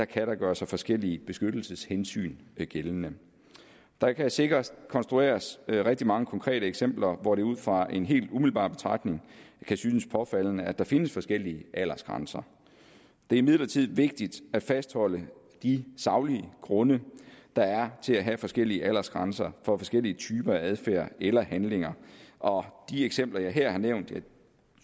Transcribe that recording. kan gøre sig forskellige beskyttelseshensyn gældende der kan sikkert konstrueres rigtig mange konkrete eksempler hvor det ud fra en helt umiddelbar betragtning kan synes påfaldende at der findes forskellige aldersgrænser det er imidlertid vigtigt at fastholde de saglige grunde der er til at have forskellige aldersgrænser for forskellige typer af adfærd eller handlinger og de eksempler jeg her har nævnt